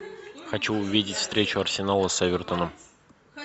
хочу увидеть встречу арсенала с эвертоном